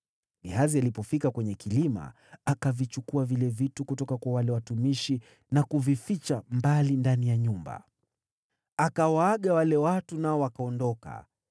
Gehazi alipofika kwenye kilima, akavichukua vile vitu kutoka kwa wale watumishi na kuvificha ndani ya nyumba. Akawaaga wale watu, nao wakaondoka.